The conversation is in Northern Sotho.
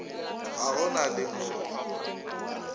ga go na le mo